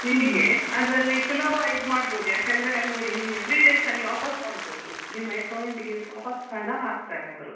ನಿಮಿಗೆ ಅದ್ರಲ್ಲಿ ಸುಲಾಭ ಇದ್ ಮಾಡ್ಬಹುದು ಯಾಕಂದ್ರೆ ನೋಡಿ ನಿಮ್ಗೆ three days ಅಲ್ಲಿ ವಾಪಸ್ ಕೊಡ್ಬಹುದು ನಿಮ್ಮ account ಗೆ ವಾಪಾಸ್ ಹಣ ಹಾಕ್ತಾರೆ ಅವ್ರು .